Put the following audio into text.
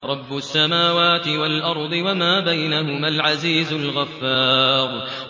رَبُّ السَّمَاوَاتِ وَالْأَرْضِ وَمَا بَيْنَهُمَا الْعَزِيزُ الْغَفَّارُ